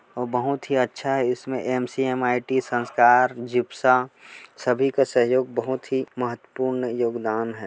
बहुत ही अच्छा इसमें एम_सी_एम_आई_टी संस्कार जिप्सा सभी का सहयोग बहुत ही महत्वपूर्ण योगदान है।